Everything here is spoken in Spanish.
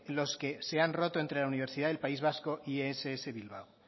los que se han roto entre la universidad del país vasco y ess bilbao